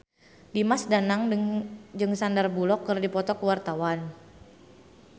Dimas Danang jeung Sandar Bullock keur dipoto ku wartawan